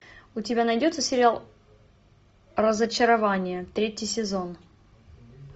у тебя найдется сериал разочарование третий сезон